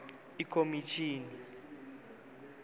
ikomitjhini